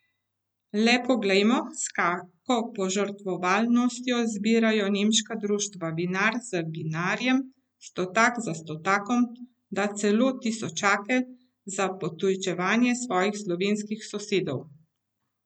Le poglejmo , s kako požrtvovalnostjo zbirajo nemška društva vinar za vinarjem, stotak za stotakom, da celo tisočake, za potujčevanje svojih slovenskih sosedov.